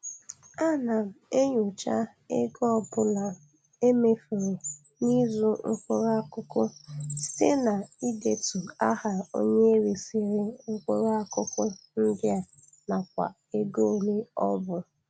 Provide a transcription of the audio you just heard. Ana m enyocha ego ọbụla e mefuru n'ịzụ mkpụrụ akụkụ site n'idetu aha onye resịrị mkpụrụ akụkụ ndị a nakwa ego oịe ọ bụ.